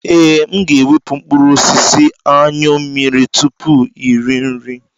Ee, m ga-ewepụ mkpụrụ osisi Anyụ mmiri tupu iri nri.